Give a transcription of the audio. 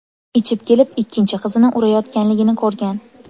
ichib kelib ikkinchi qizini urayotganligini ko‘rgan.